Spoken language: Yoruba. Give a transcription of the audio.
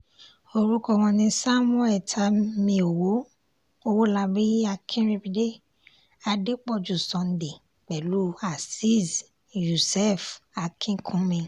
orúkọ wọn ni samuel tanmiòwó ọwọ́labí akínríbidé adépọ̀jù sunday pẹ̀lú azeez yussef akínkúnmi